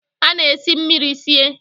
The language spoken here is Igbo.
A na-esi mmiri sie